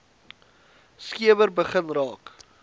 skemer begin raak